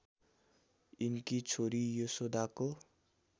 यिनकी छोरी यशोदाको